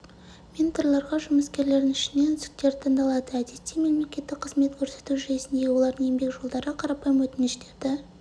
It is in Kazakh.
менторларға жұмыскерлерінің ішінен үздіктері таңдалады әдетте мемлекеттік қызмет көрсету жүйесіндегі олардың еңбек жолдары қарапайым өтініштерді